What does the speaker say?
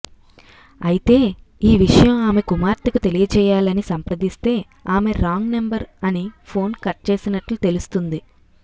అయితే ఈ విషయం ఆమె కుమార్తెకు తెలియజేయాలని సంప్రదిస్తే ఆమె రాంగ్ నెంబర్ అని ఫోన్ కట్ చేసినట్లు తెలుస్తుంది